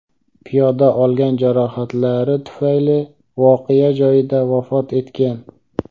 Piyoda olgan jarohatlari tufayli voqea joyida vafot etgan.